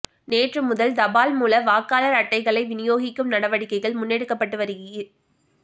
நேற்று முதல் தபால் மூல வாக்காளர் அட்டைகளை விநியோகிக்கும் நடவடிக்கைகள் முன்னெடுக்கப்பட்டு வருகி